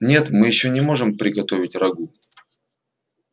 нет мы ещё не можем приготовить рагу